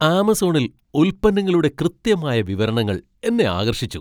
ആമസോണിൽ ഉൽപ്പന്നങ്ങളുടെ കൃത്യമായ വിവരണങ്ങൾ എന്നെ ആകർഷിച്ചു.